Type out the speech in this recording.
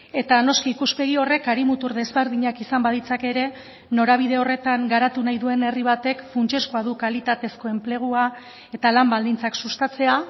eta noski ikuspegi horrek hari mutur desberdinak izan baditzake ere norabide horretan garatu nahi duen herri batek funtsezkoa du kalitatezko enplegua eta lan baldintzak sustatzea